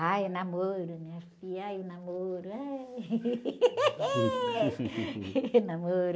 Ai, o namoro, minha filha, ai, o namoro. Ai... Namoro.